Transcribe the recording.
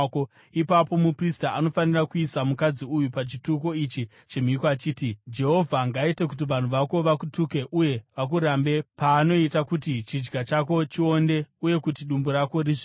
ipapo muprista anofanira kuisa mukadzi uyu pachituko ichi chemhiko achiti, “Jehovha ngaaite kuti vanhu vako vakutuke uye vakurambe paanoita kuti chidya chako chionde uye kuti dumbu rako rizvimbe.